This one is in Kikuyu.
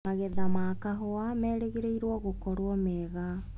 Magetha ma kahũa marerĩgĩrĩrwo gũkorwo mega.